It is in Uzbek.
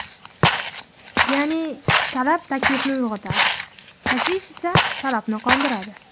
Ya’ni, talab taklifni uyg‘otadi, taklif esa talabni qondiradi.